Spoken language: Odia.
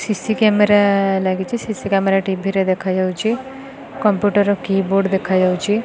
ସି_ସି କ୍ୟାମେରା ଲାଗିଚି ସି_ସି କ୍ୟାମେରା ଟି_ଭି ରେ ଦେଖାଯାଉଚି କମ୍ପ୍ୟୁଟର କି ବୋର୍ଡ ଦେଖାଯାଉଚି।